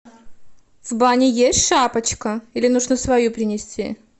в бане есть шапочка или нужно свою принести